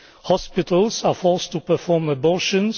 hospitals are forced to perform abortions